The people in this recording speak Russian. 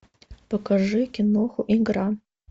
покажи киноху игра